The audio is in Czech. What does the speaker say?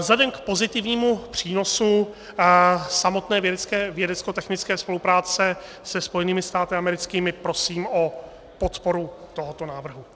Vzhledem k pozitivnímu přínosu samotné vědeckotechnické spolupráce se Spojenými státy americkými prosím o podporu tohoto návrhu.